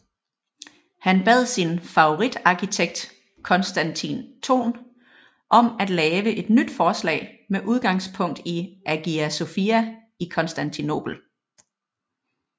Han bad sin favoritarkitekt Konstantin Thon om at lave et nyt forslag med udgangspunkt i Hagia Sophia i Konstantinopel